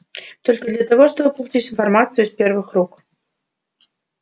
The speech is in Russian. только для того чтобы получить информацию из первых рук